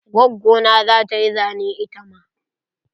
Gwaggo na zata yi zane itama.